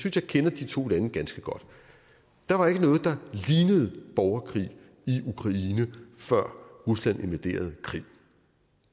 at jeg kender de to lande ganske godt der var ikke noget der lignede borgerkrig i ukraine før rusland invaderede krim